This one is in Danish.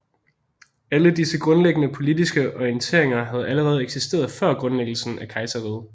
Alle disse grundlæggende politiske orienteringer havde allerede eksisteret før grundlæggelsen af kejserriget